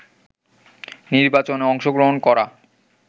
নির্বাচনে অংশগ্রহণ করা